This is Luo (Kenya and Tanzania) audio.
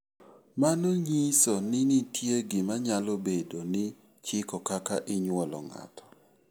Mano nyiso ni nitie gima nyalo bedo ni chiko kaka inyuolo ng'ato.